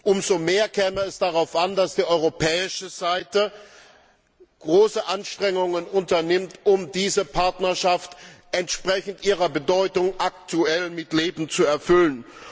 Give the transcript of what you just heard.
Umso mehr käme es darauf an, dass die europäische Seite große Anstrengungen unternimmt, um diese Partnerschaft entsprechend ihrer Bedeutung aktuell mit Leben zu erfüllen.